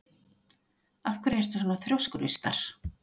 Af hverju ertu svona þrjóskur, Austar?